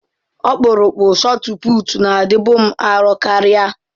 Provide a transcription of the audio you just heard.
Ọkpụrụkpụ shotụputụ na-adịbu m arọ karịa.